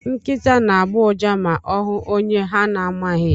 Nkịta na-agbọ ụja ma ọ hụ onye ha na-amaghị.